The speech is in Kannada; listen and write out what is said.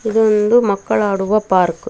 ಇದು ಒಂದು ಮಕ್ಕಳಾಡುವ ಪಾರ್ಕ್ .